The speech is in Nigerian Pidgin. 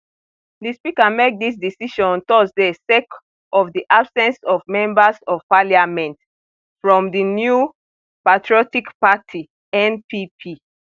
di speaker make dis decision on thursday sake of di absence of members of parliament from di new patriotic party npp